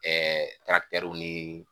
w nii